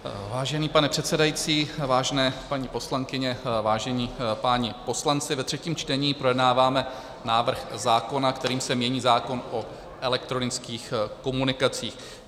Vážený pane předsedající, vážené paní poslankyně, vážení páni poslanci, ve třetím čtení projednáváme návrh zákona, kterým se mění zákon o elektronických komunikacích.